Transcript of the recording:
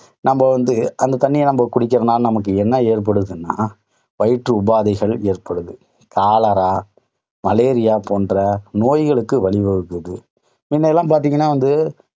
நம்ம வந்து அந்த தண்ணிய நம்ம குடிக்கறதுனால ந்மக்கு என்ன ஏற்படுதுன்னா, வயிற்று உபாதைகள் ஏற்படுது. காலரா மலேரியா போன்ற நோய்களுக்கு வழி வகுக்குது. முன்னெல்லாம் பாத்தீங்கன்னா வந்து,